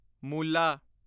ਮੂਲਾ